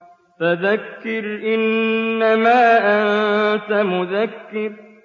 فَذَكِّرْ إِنَّمَا أَنتَ مُذَكِّرٌ